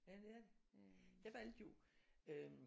Ja det er det. Jeg valgte jo øh